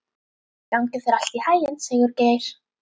Gangi þér allt í haginn, Sigurgeir.